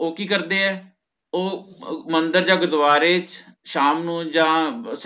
ਓਹ ਕੀ ਕਰਦੇ ਹੈ ਓਹ ਮੰਦਿਰ ਜਾ ਗੁਰਦਵਾਰੇ ਸ਼ਾਮ ਨੂ ਯਾ